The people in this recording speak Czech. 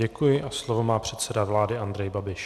Děkuji a slovo má předseda vlády Andrej Babiš.